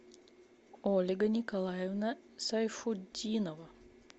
ольга николаевна сайфутдинова